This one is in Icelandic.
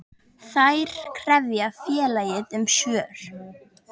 Þær krefja félagið um svör.